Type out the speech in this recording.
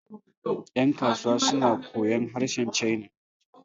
yankasuwa suna koyon harshen china